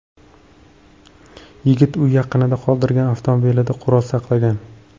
Yigit uy yaqinida qoldirgan avtomobilida qurol saqlagan.